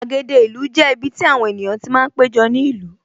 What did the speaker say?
Gbàgede ìlú jẹ́ ibiti àwọn ènìyàn ti máa ń péjọ ní ìlú